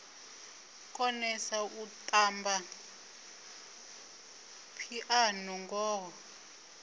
konesa u tamba phiano ngoho